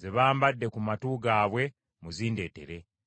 ze bambadde ku matu gaabwe, muzindeetere.”